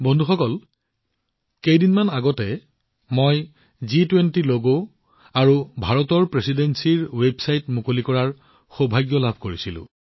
বন্ধুসকল কেইদিনমান পূৰ্বে মই জি২০ ল গআৰু ভাৰতৰ অধ্যক্ষতাৰ ৱেবছাইট মুকলি কৰাৰ সৌভাগ্য লাভ কৰিছিলো